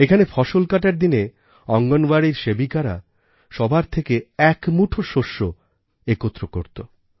এখানে ফসল কাটার দিনে অঙ্গণবাড়ির সেবিকারা সবার থেকে এক এক মুঠো শস্য একত্র করতো